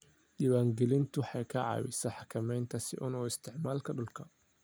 Diiwaangelintu waxay ka caawisaa xakamaynta si xun u isticmaalka dhulka.